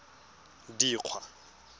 dikgwa